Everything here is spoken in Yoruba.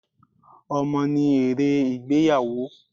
Ọmọ ni èrè ìgbéyàwó.